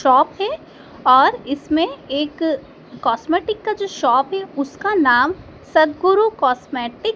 shop है और इसमें एक कॉस्मेटिक का जो शॉप है उसका नाम सद्गुरु कॉस्मेटिक --